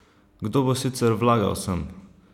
Kdo bo sicer vlagal sem?